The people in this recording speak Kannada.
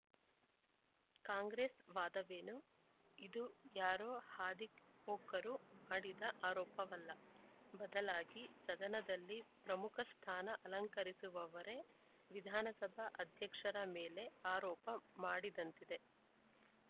ಕಾಂಗ್ರೆಸ್‌ ವಾದವೇನು ಇದು ಯಾರೋ ಹಾದಿಹೋಕರು ಮಾಡಿದ ಆರೋಪವಲ್ಲ ಬದಲಾಗಿ ಸದನದಲ್ಲಿ ಪ್ರಮುಖ ಸ್ಥಾನ ಅಲಂಕರಿಸಿರುವವರೇ ವಿಧಾನಸಭಾ ಅಧ್ಯಕ್ಷರ ಮೇಲೆ ಆರೋಪ ಮಾಡಿದಂತಿದೆ